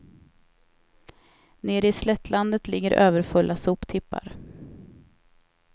Nere i slättlandet ligger överfulla soptippar.